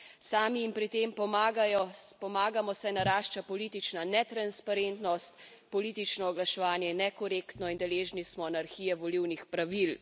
Sami jim pri tem pomagamo, saj narašča politična netransparentnost, politično oglaševanje je nekorektno in deležni smo anarhije volilnih pravil.